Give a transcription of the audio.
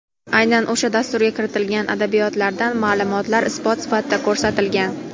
aynan o‘sha dasturga kiritilgan adabiyotlardan maʼlumotlar isbot sifatida ko‘rsatilgan.